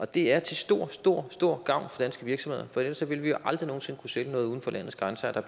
det er til stor stor stor gavn for danske virksomheder for ellers ville vi jo aldrig nogen sinde kunne sælge noget uden for landets grænser så